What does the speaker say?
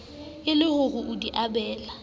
e le ho di abela